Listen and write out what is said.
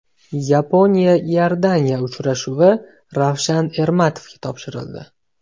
Yaponiya−Iordaniya uchrashuvi Ravshan Ermatovga topshirildi.